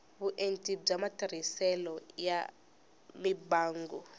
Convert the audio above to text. vuenti bya matirhiselo ya mimbangu